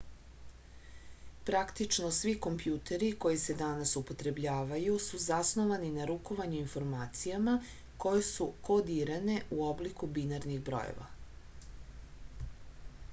praktično svi kompjuteri koji se danas upotrebljavaju su zasnovani na rukovanju informacijama koje su kodirane u obliku binarnih brojeva